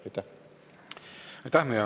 Aitäh!